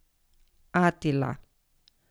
Atila.